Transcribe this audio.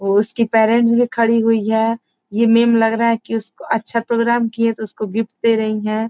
वो उसकी पेरेंट्स भी खड़ी हुई है ये मैम लग रहा है कि अच्छा प्रोग्राम किये है तो उसको गिफ्ट दे रही हैं |